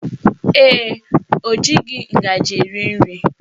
Ee, o jighị ngaji eri nri